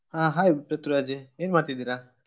ಹಾ hai ಪ್ರಥ್ವಿರಾಜ್ ಏನ್ ಮಾಡ್ತಾ ಇದ್ದೀರಾ?